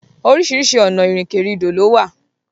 Oríṣiríṣi ọ̀nà ìrìnkèrindò lówà.